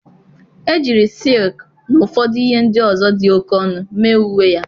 Ejiri silk na ụfọdụ ihe ndị ọzọ dị oke ọnụ mee uwe ya.